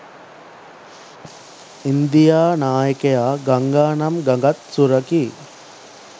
India නායකයා ගංගානම් ගඟත් සුරකී